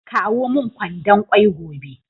Kawo min kwandon kwai gobe